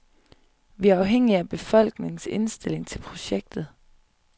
Vi er afhængige af befolkningens indstilling til projektet.